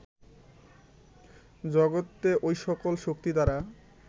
জগতে ঐ সকল শক্তি দ্বারা